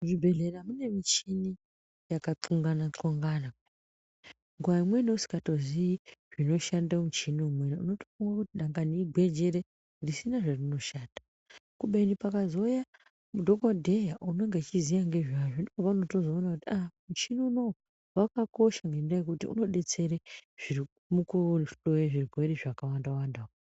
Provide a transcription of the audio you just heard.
Muzvibhedhlera mune michini yakatxongana-txongana nguva imweni usikatozii zvinoshande muchini umweni unototi dangwani igwenjere zvisina zvazvinoshanda. Kubeni pakazouya dhogodheya anonge uchiziya ngezvazvo ndipo paunotozoona kuti muchini unouyu vakakosha ngendaa yekuti unobetsera zviri mukuhloye zvirwere zvakawanda-wanda.